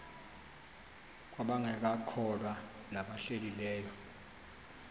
kwabangekakholwa nabahlehli leyo